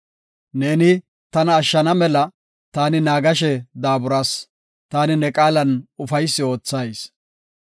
Neeni tana ashshana mela, taani naagashe daaburas; taani ne qaalan ufaysi oothayis.